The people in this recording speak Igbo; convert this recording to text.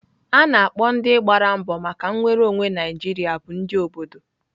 A na-akpọ ndị gbara mbọ maka nnwere onwe Naijiria bụ ndị obodo.